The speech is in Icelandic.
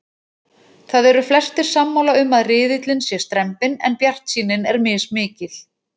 Það eru flestir sammála um að riðillinn sé strembinn en bjartsýnin er mismikil.